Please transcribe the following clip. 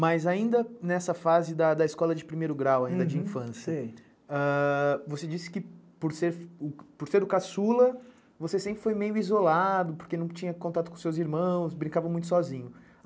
Mas ainda nessa fase da escola de primeiro grau, ainda de infância, você disse que por ser o caçula, você sempre foi meio isolado, porque não tinha contato com seus irmãos, brincava muito sozinho.